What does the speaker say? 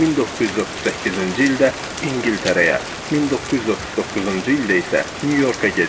1938-ci ildə İngiltərəyə, 1939-cu ildə isə Nyu-Yorka gedib.